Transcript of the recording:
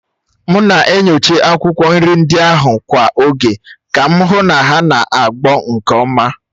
M na-enyocha akwụkwọ nri ndị ahụ kwa oge ka m hụ na ha na-agbọ nke ọma